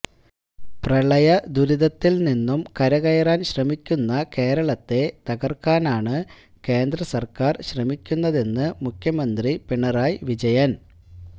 പ്രളയ ദുരിതത്തില് നിന്നും കരകയറാന് ശ്രമിക്കുന്ന കേരളത്തെ തകര്ക്കാനാണ് കേന്ദ്രസര്ക്കാര് ശ്രമിക്കുന്നതെന്ന് മുഖ്യമന്ത്രി പിണറായി വിജയന്